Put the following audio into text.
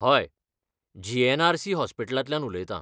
हय, जी.एन.आर.सी. हॉस्पिटलांतल्यान उलयतां .